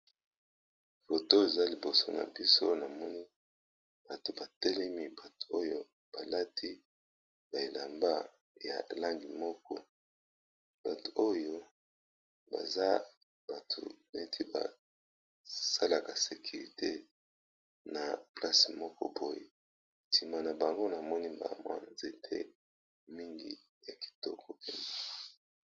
Photo to eza liboso na biso na moni bato batelemi bato oyo balati ba elamba ya langi moko bato oyo baza bato neti basalaka sekirite na place moko poy ntima na bango na moni bamwa nzete mingi ya kitoko pene.